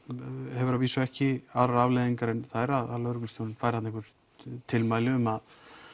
hefur að vísu ekki aðrar afleiðingar en þær að lögreglustjórinn fær þarna einhvert tiltal um að